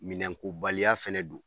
Minɛn ko baliya fɛnɛ don.